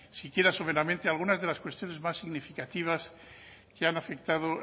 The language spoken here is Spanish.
siquiera severamente a algunas de las cuestiones más significativas que han afectado